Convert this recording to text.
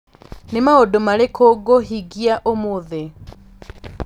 Nĩ maũndũ marĩkũ ngũhingia ũmũthĩ